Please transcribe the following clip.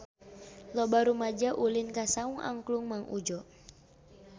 Loba rumaja ulin ka Saung Angklung Mang Udjo